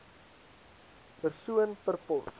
persoon per pos